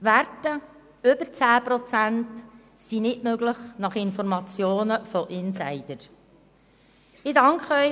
Werte über 10 Prozent sind gemäss Informationen von Insidern nicht möglich.